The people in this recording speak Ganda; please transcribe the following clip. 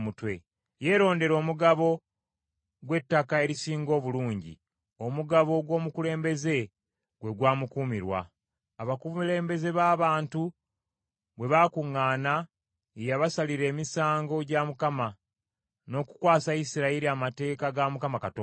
Yeerondera omugabo gw’ettaka erisinga obulungi, omugabo gw’omukulembeze gwe gwamukuumirwa. Abakulembeze b’abantu bwe baakuŋŋaana ye yabasalira emisango gya Mukama , n’okukwasa Isirayiri amateeka ga Mukama Katonda.”